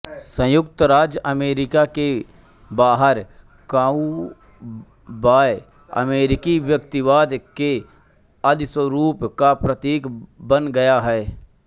संयुक्त राज्य अमेरिका के बाहर काउबॉय अमेरिकी व्यक्तिवाद के आदिस्वरूप का प्रतीक बन गया है